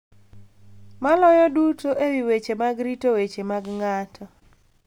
Maloyo duto e wi weche mag rito weche mag ng’ato,